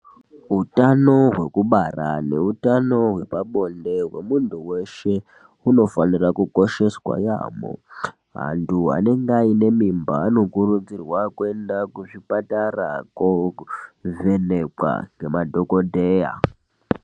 Utano hwekubara neutano hwepabonde hwemunhu weshe, hunofanira kukosheswa yaamho. Antu anenge aine mimba anokurudzirwa kuenda kuzvipatara koovhenekwa ngemadhokodheya.